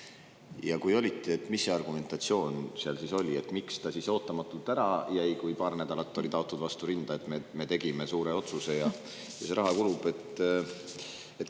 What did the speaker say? Ja kui olite, siis mis argumentatsioon seal oli: miks ta ootamatult ära jäi, kui paar nädalat oli taotud vastu rinda, et me tegime suure otsuse ja see raha kulutatakse.